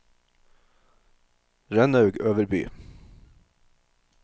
Rønnaug Øverby